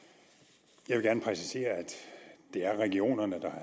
jeg vil gerne præcisere at det er regionerne der